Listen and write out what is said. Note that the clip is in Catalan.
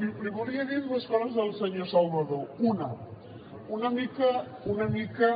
li volia dir dues coses al senyor salvadó una una mica